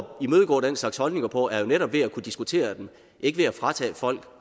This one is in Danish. imødegå den slags holdninger på er jo netop ved at kunne diskutere dem ikke ved at fratage folk